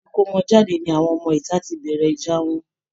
Ibi ìkómọjáde ni àwọn ọmọ ìta ti bẹ̀rẹ̀ ìjà wọn